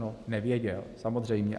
No nevěděl, samozřejmě.